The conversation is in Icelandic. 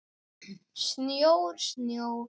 Snjór, snjór.